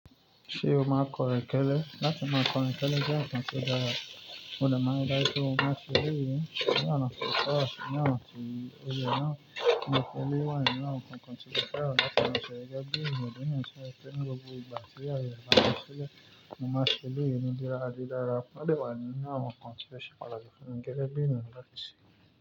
Ṣé o máa kọ̀rẹ́kẹ́lẹ́? Láti máa kọrin kẹlẹ jẹ́ ǹkan tó dára, mo lè máa n rí dájú pé mo má n ṣe eléyìí ní ọ̀nà ti o tọ ati ni ọ̀nà ti o yẹ náà. Òǹkẹ́lẹ́ wá ní náà kankan tí jẹ́ pé àwọn láti máa ṣe rẹ́gẹ́ bí ń gbọ́ dé náà ṣe fẹ́ ní gbogbo ìgbà tí àwọn yẹn bá ń ṣẹlẹ̀, mo máa ṣe elé yìí nìdídára di dára. Má lè wà nínú àwọn nǹkan tí ẹ ṣe padà ṣe fún mi gẹ́gẹ́ bí ìran láti ṣe.